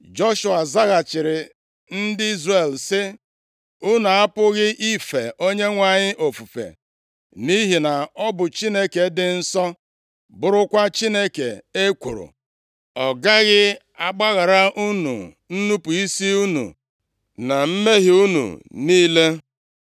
Joshua zaghachiri ndị Izrel sị, “Unu apụghị ife Onyenwe anyị ofufe; nʼihi na ọ bụ Chineke dị nsọ, bụrụkwa Chineke ekworo. Ọ gaghị agbaghara unu nnupu isi unu na mmehie unu niile.